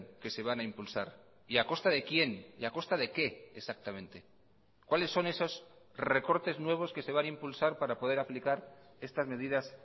que se van a impulsar y a costa de quién y a costa de qué exactamente cuáles son esos recortes nuevos que se van a impulsar para poder aplicar estas medidas